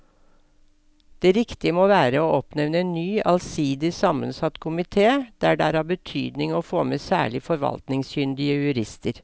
Det riktige må være å oppnevne en ny allsidig sammensatt komite der det er av betydning å få med særlig forvaltningskyndige jurister.